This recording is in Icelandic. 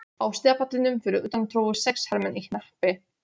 Á stigapallinum fyrir utan tróðust sex hermenn í hnappi.